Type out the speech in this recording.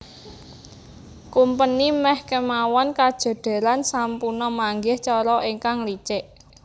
Kumpeni meh kemawon kajodheran sampuna manggih cara ingkang licik